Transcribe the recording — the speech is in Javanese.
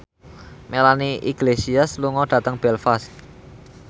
Melanie Iglesias lunga dhateng Belfast